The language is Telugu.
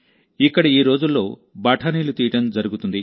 ఇక్కడఈ రోజుల్లోబఠానీలు తీయడం జరుగుతుంది